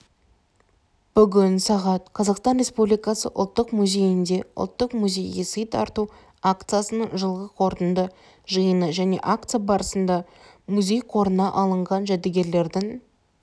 бүгін сағат қазақстан республикасы ұлттық музейінде ұлттық музейге сый тарту акциясының жылғы қорытынды жиыны және акция барысында музей қорына алынған жәдігерлердің